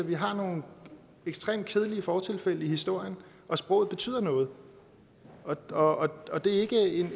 vi har nogle ekstremt kedelige fortilfælde i historien og sproget betyder noget og og det er ikke